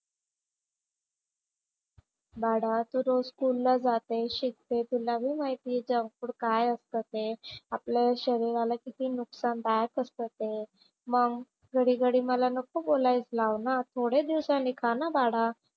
बाळा तू रोज स्कूलला जाते, शिकते. तुलाही माहिती आहे जंक फूड काय असतं ते. आपल्या शरीराला किती नुकसानदायक असतं ते. मग घडी घडी मला नको बोलायला लावू ना. थोडे दिवसांनी खा ना बाळा.